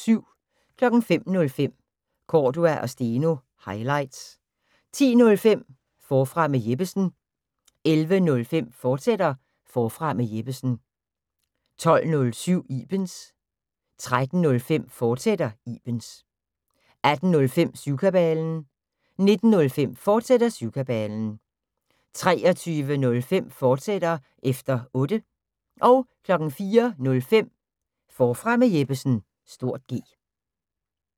05:05: Cordua & Steno – highlights 10:05: Forfra med Jeppesen 11:05: Forfra med Jeppesen, fortsat 12:07: Ibens 13:05: Ibens, fortsat 18:05: Syvkabalen 19:05: Syvkabalen, fortsat 23:05: Efter Otte, fortsat 04:05: Forfra med Jeppesen (G)